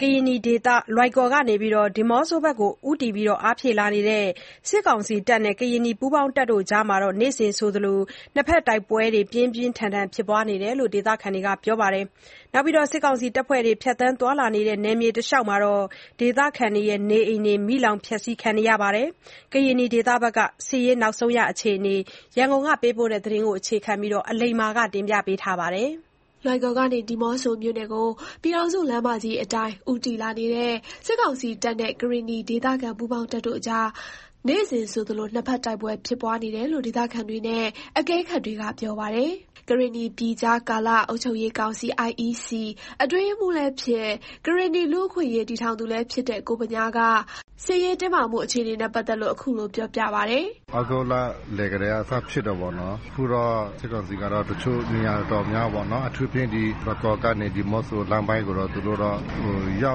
ကရင်နီဒေသ လွိုင်ကော်ကနေ ဒီးမော့ဆိုဘက်ကို ဦးတည်အားဖြည့်လာတဲ့ စစ်ကောင်စီတပ်နဲ့ ကရင်နီပူးပေါင်းတပ်တို့အကြား နေ့စဉ်ဆိုသလို နှစ်ဖက် တိုက်ပွဲဖြစ်ပွားနေတယ်လို့ ဒေသခံတွေက ပြောပါတယ်။ စစ်ကောင်စီ တပ်ဖွဲ့တွေ ဖြတ်သန်းတဲ့ နယ်မြေတလျှောက် ဒေသခံတွေရဲ့ နေအိမ်တွေ မီးလောင်ဖျက်ဆီးခံရတာတွေ ရှိနေတယ်လို့လည်း ပြောပါတယ်။ ကရင်နီဒေသ စစ်ရေးအခြေအနေနဲ့ ပတ်သက်လို့ ရန်ကုန်က သတင်းပေးပို့ထားတာကို တင်ပြထားပါတယ်။ လွိုင်ကော်ကနေ ဒီးမော့ဆိုမြို့နယ်ကို ပြည်ထောင်စုလမ်းမကြီးအတိုင်း ဦးတည်လာနေတဲ့ စစ်ကောင်စီတပ်နဲ့ ကရင်နီဒေသခံ ပူးပေါင်းတပ်တို့အကြား နေ့စဉ်ဆိုသလို နှစ်ဖက် တိုက်ပွဲဖြစ်ပွားနေတယ်လို့ ဒေသခံတွေနဲ့ အကဲခတ်တွေက ပြောပါတယ်။ ကရင်နီပြည်ကြားကာလ အုပ်ချုပ်ရေးကောင်စီ အတွင်းရေးမှူးလည်းဖြစ်၊ ကရင်နီလူ့အခွင့်အရေး တည်ထောင်သူလည်း ဖြစ်တဲ့ ကိုဗညား က စစ်ရေးတင်းမာမှု အခြေအနေနဲ့ ပတ်သက်လို့ အခုလိုပြောပါတယ်။ “သြဂုတ်လလယ်ကတည်းက စဖြစ်တယ်ပေါ့နော်။ အခုတော့ စစ်ကောင်စီကတော့ တချို့ နေရာတော်တော်များများပေါ့နော်၊ အထူးသဖြင့် ဒီလွိုင်ကော်ကနေ ဒီးမော့ဆိုလမ်းပိုင်းကိုတော့ သူတို့တော့ ရော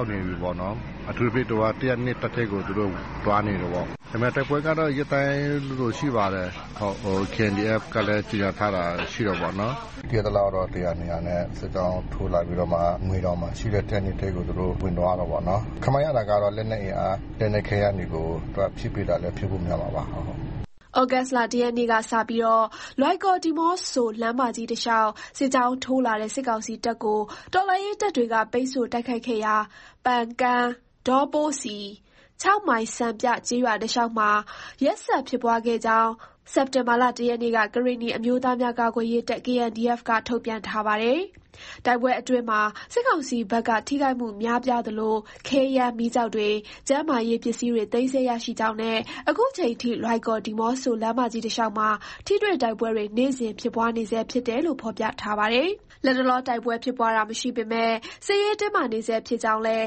က်နေပြီးပေါ့နော်။ အထူးသဖြင့် ၁၀၂ တပ်ထဲကို သူတို့ သွားနေတယ်ပေါ့။ ဒါပေမယ့် တိုက်ပွဲကတော့ ရက်တိုင်းလိုလိုရှိပါတယ်။ KNDF ကလည်း ကြေညာထားတာရှိတာပေါ့။ သိရသလောက်တော့ ၁၀၀ ၂၀၀ နဲ့ စစ်ကြောင်းထိုးလာပြီးတော့မှ ငွေတောင်မှာရှိတဲ့ ၁၀၂ ထဲကို သူတို့ ဝင်သွားတယ်ပေါ့နော်။ ခန့်မှန်းရတာကတော့ လက်နက်အင်အား လက်နက်ခဲယမ်းတွေကို သူက ဖြည့်ပေးတာလည်း ဖြစ်ဖို့ များမှာပါဟုတ်။” သြဂုတ်လ ၁ရက်နေ့က စပြီး လွိုင်ကော်-ဒီးမော့ဆို လမ်းမကြီးတလျှောက် စစ်ကြောင်းထိုးလာတဲ့ စစ်ကောင်စီတပ်ကို တော်လှန်ရေးတပ်တွေက ပိတ်ဆို့တိုက်ခိုက်ခဲ့ရာ ပန်ကန်း၊ ဒေါပိုးစီ၊ မိုင်စံပြကျေးရွာတလျှောက်မှာ ရက်ဆက်ဖြစ်ပွားခဲ့ကြောင်း စက်တင်ဘာ ၁ ရက်နေ့က ကရင်နီအမျိုးသားများကာကွယ်ရေးတပ် က ထုတ်ပြန်ထားပါတယ်။ တိုက်ပွဲအတွင်းမှာ စစ်ကောင်စီဘက်က ထိခိုက်မှုများပြားသလို ခဲယမ်းမီးကျောက်တွေ ကျန်းမာရေးပစ္စည်းတွေ သိမ်းဆည်းရရှိကြောင်းနဲ့ အခုချိန်ထိ လွိုင်ကော်-ဒီးမော့ဆို လမ်းမကြီးတလျှောက်မှာ ထိတွေ့တိုက်ပွဲတွေ နေ့စဉ်ဖြစ်ပွားနေဆဲဖြစ်တယ်လို့ ဖော်ပြထားပါတယ်။ လတ်တလော တိုက်ပွဲဖြစ်တာ မရှိပေမဲ့ စစ်ရေးတင်းမာနေဆဲဖြစ်ကြောင်းလည်း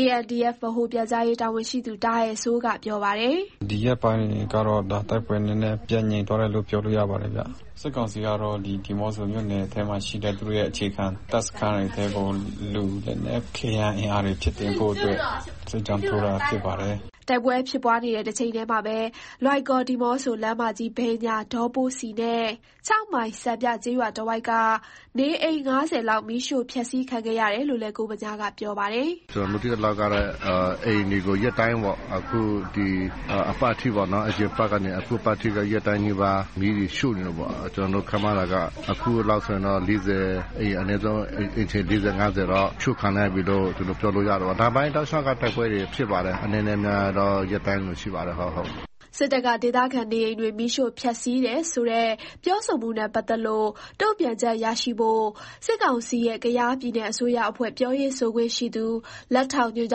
KNDF ဗဟိုပြန်ကြားရေးတာဝန်ရှိသူ တာအယ်စိုး ကပြောပါတယ်။ “ဒီရက်ပိုင်းကတော့ ဒါတိုက်ပွဲ နည်းနည်းပြန်သွားတယ်လို့ ပြောလို့ရပါတယ်ဗျ။ စစ်ကောင်စီကတော့ ဒီးမော့ဆိုမြို့နယ်ထဲမှာ ရှိတဲ့ သူတို့ရဲ့ အခြေခံ တပ်စခန်းထဲကို လူနည်းနည်းဖြည့် အင်အားတွေ ဖြည့်တင်းဖို့အတွက် စစ်ကြောင်းထိုးတာဖြစ်ပါတယ်။” တိုက်ပွဲဖြစ်ပွားနေတဲ့ တချိန်တည်းမှာပဲ လွိုင်ကော်-ဒီးမော့ဆို လမ်းမကြီးဘေး ဒေါပိုးစီနဲ့ မိုင်စံပြကျေးရွာတဝိုက်က နေအိမ် ၅၀ လောက် မီးရှို့ဖျက်ဆီးခံခဲ့ရတယ်လို့လည်း ကိုဗညားက ပြောပါတယ်။ “ကျနော်တို့ သိသလောက်ကတော့ အိမ်တွေကို ရက်တိုင်းပေါ့ ဒီအပတ်ထိပေ့ါနော်၊ အရင်အပတ်ကနေ အခုအပတ်ထိ နေ့တိုင်းနီးပါး မီးတွေ ရှို့နေတာပေါ့၊ ကျနော်တို့ ခန့်မှန်းတာက အခုလောက်ဆိုရင်တော့ အိမ်ခြေ ၄၀ ၅၀ တော့ ရှို့ခံလိုက်ရပြီးလို့ ကျနော်ပြောလို့ရတယ်ပေါ့နော်။ တောက်လျှောက်ကတော့ တိုက်ပွဲတွေ ဖြစ်ပါတယ်။ အနည်းနဲ့ အများတော့ ရက်တိုင်းလိုလို ရှိပါတယ်ဟုတ်။” စစ်တပ်က ဒေသခံနေအိမ်တွေ မီးရှို့ဖျက်စီးတယ်ဆိုတဲ့ ပြောဆိုမှုနဲ့ ပတ်သက်လို့ တုံ့ပြန်ချက်ရရှိဖို့ စစ်ကောင်စီရဲ့ ကယားပြည်နယ်အစိုးရအဖွဲ့ ပြောရေးဆိုခွင့်ရှိသူ လက်ထောက်ညွှန်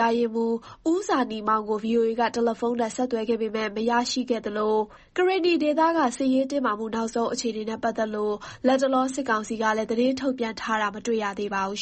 ကြားရေးမှူး ဦးဇာနည်မောင် ကို VOA က တယ်လီဖုန်းနဲ့ ဆက်သွယ်ခဲ့ပေမယ့် မရခဲ့သလို၊ ကရင်နီဒေသက စစ်ရေးတင်းမာမှု နောက်ဆုံးအခြေအနေနဲ့ ပတ်သက်လို့ လတ်တလော စစ်ကောင်စီကလည်း သတင်းထုတ်ပြန်ထားတာလည်း မတွေ့ရသေးပါဘူး